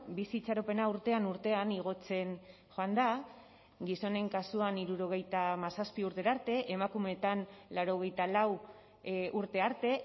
bizi itxaropena urtean urtean igotzen joan da gizonen kasuan hirurogeita hamazazpi urtera arte emakumeetan laurogeita lau urte arte